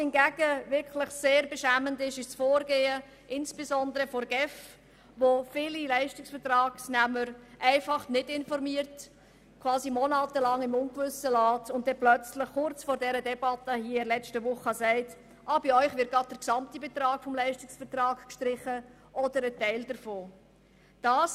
Sehr beschämend ist jedoch das Vorgehen insbesondere der GEF, die viele Leistungsvertragsnehmer einfach nicht informiert und sie monatelang im Ungewissen gelassen hat, um ihnen letzte Woche kurz vor der Debatte im Grossen Rat zu sagen: «Bei euch wird der gesamte Betrag des Leistungsvertrags oder ein Teil davon gestrichen.